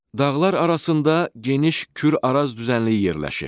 Dağlar arasında geniş Kür-Araz düzənliyi yerləşir.